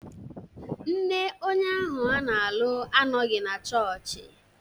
Nne onye ahụ a na-alụ anọghị na chọọchị